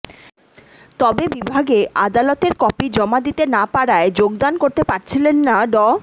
তবে বিভাগে আদালতের কপি জমা দিতে না পারায় যোগদান করতে পারছিলেন না ড